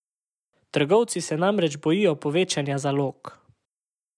Trgovci se namreč bojijo povečanja zalog.